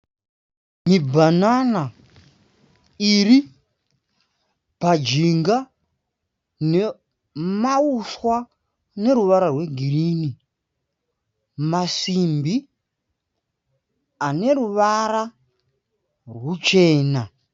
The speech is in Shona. Mibhanana iri pajinga nemahuswa aneruvara rwegirinhi. Masimbi ane ruvara ruchena.